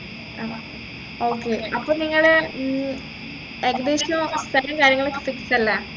ആഹ് okay അപ്പൊ നിങ്ങള് ഉം ഏകദേശം സ്ഥലം കാര്യങ്ങളൊക്കെ fix അല്ലെ